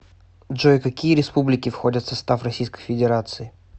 джой какие республики входят в состав российской федерации